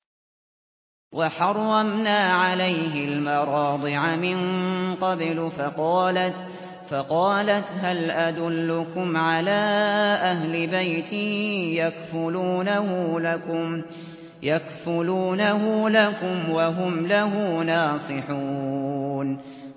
۞ وَحَرَّمْنَا عَلَيْهِ الْمَرَاضِعَ مِن قَبْلُ فَقَالَتْ هَلْ أَدُلُّكُمْ عَلَىٰ أَهْلِ بَيْتٍ يَكْفُلُونَهُ لَكُمْ وَهُمْ لَهُ نَاصِحُونَ